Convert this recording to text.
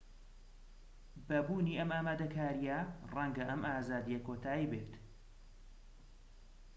بە بوونی ئەم ئامادەکاریە ڕەنگە ئەم ئازادیە کۆتایی بێت